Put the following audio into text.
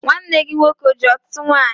Nwanne gị nwoke o ji ọtụtụ nwanyị?